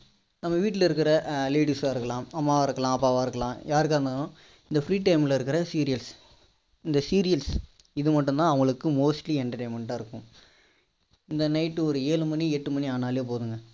நம்ம வீட்டுல இருக்க ladies சா இருக்கலாம் அம்மாவா இருக்கலாம் அப்பாவா இருக்கலாம் யாருக்கா இருந்தாலும் இந்த free time ல இருக்க இந்த serials இது மட்டும் தான் அவங்களுக்கு mostly entertainment டா இருக்கும் இந்த night டு ஒரு ஏழு மணி எட்டு மணி ஆனாலே போதுங்க